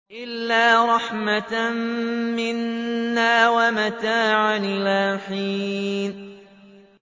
إِلَّا رَحْمَةً مِّنَّا وَمَتَاعًا إِلَىٰ حِينٍ